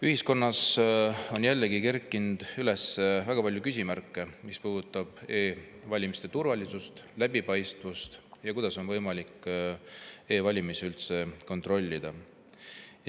Ühiskonnas on jällegi kerkinud üles väga palju küsimärke, mis puudutavad e‑valimiste turvalisust ja läbipaistvust ning seda, kuidas on võimalik e‑valimisi üldse kontrollida.